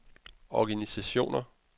organisationer